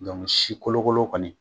Dɔnku si kolokolo kɔni